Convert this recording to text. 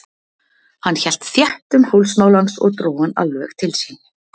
Hann hélt þétt um hálsmál hans og dró hann alveg til sín.